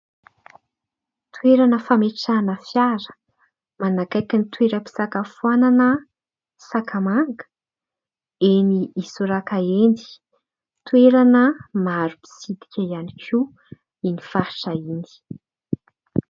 Toerana fametrahana fiara manakaiky ny toeram-pisakafoana Sakamanga enỳ Isoraka enỳ. Toerana maro mpitsidika ihany koa iny faritra iny.